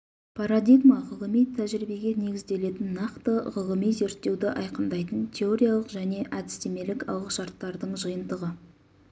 парадигма ғылыми тәжірибеге негізделетін нақты ғылыми зерттеуді айқындайтын теориялық және әдістемелік алғышарттардың жиынтығы